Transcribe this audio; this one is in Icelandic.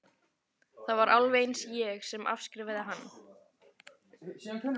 Það var alveg eins ég sem afskrifaði hann.